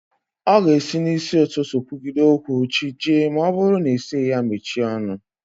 Ọ ga-esi n'ụtụtụ kwugide okwu chi jie ma ọ bụrụ na ị sịghị ya mechie ọnụ